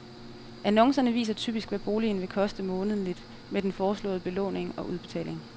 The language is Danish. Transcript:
Annoncerne viser typisk, hvad boligen vil koste månedligt med den foreslåede belåning og udbetaling.